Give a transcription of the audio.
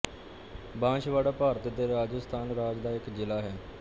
ਬਾਂਸਵਾੜਾ ਭਾਰਤ ਦੇ ਰਾਜਸਥਾਨ ਰਾਜ ਦਾ ਇੱਕ ਜ਼ਿਲ੍ਹਾ ਹੈ